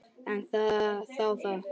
En þá það.